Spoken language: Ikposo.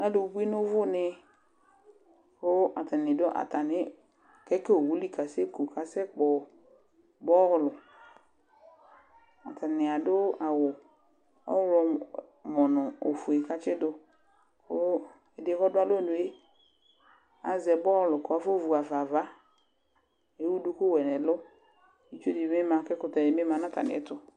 Adi abu nu uvu ne ku atani du atami keki uwu li kasɛku kasɛkpɔ bɔlu atani adu awu ɔɣlɔmɔ nu ɔfue ku atidu ku ɛdi yɛ ku ɔdu alɔnu yɛ azɛ bɔlu ku afɔ vu ɣa fa ava lewu duku wɛ di nu ɛlu itsu di bi ma ku ɛkutɛ di bi ma nu atami ɛtu